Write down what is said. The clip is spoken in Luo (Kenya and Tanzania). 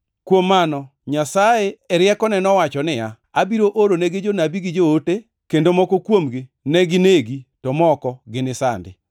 Kuom mano Nyasaye e riekone nowacho niya, ‘Abiro oronegi jonabi gi joote, kendo moko kuomgi ne ginegi to moko ginisandi!’